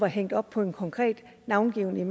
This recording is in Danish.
hængt op på en konkret navngiven